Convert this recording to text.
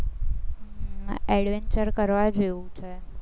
adventure કરવા જેવું છે.